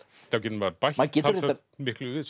getur maður bætt talsvert miklu við